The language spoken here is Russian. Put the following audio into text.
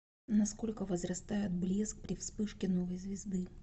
на сколько возрастает блеск при вспышке новой звезды